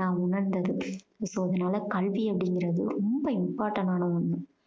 நான் உணர்ந்தது. இப்போ அதுனால கல்வி அப்படீங்கறது வந்து ரொம்ப important ஆன ஒண்ணு.